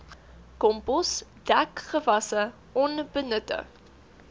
kompos dekgewasse onbenutte